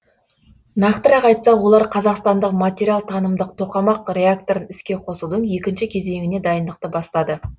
нақтырақ айтсақ олар қазақстандық материалтанымдық тоқамақ реакторын іске қосудың екінші кезеңіне дайындықты бастады